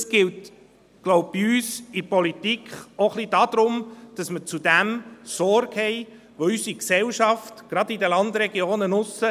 Es geht, glaube ich, bei uns in der Politik auch ein wenig darum, dass man zu dem Sorge trägt, was unsere Gesellschaft mitträgt, gerade in den Landregionen draussen.